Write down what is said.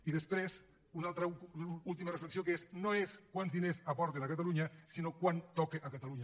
i després una última reflexió que és no és quants diners aporten a catalunya sinó quant toca a catalunya